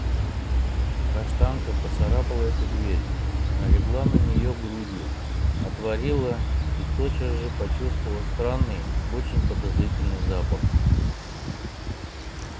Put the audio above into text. каштанка поцарапала эту дверь налегла на нее грудью отворила и тотчас же почувствовала странный очень подозрительный запах